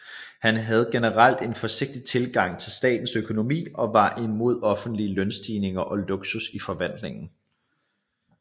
Han havde generelt en forsigtig tilgang til statens økonomi og var imod offentlige lønstigninger og luksus i forvaltningen